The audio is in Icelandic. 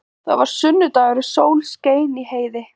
Það var sunnudagur og sól skein í heiði.